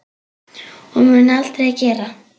Og mun aldrei gera.